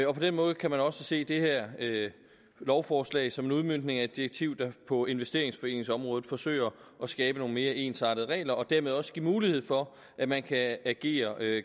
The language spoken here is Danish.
og på den måde kan man også se det her lovforslag som en udmøntning af et direktiv der på investeringsforeningsområdet forsøger at skabe nogle mere ensartede regler og dermed også give mulighed for at man kan agere